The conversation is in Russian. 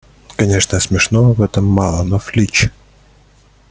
конечно смешного в этом мало но флич